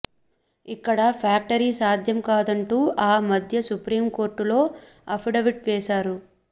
ఇక్కడ ఫ్యాక్టరీ సాధ్యం కాదంటూ ఆ మధ్య సుప్రీం కోర్టులో అఫిడవిట్ వేశారు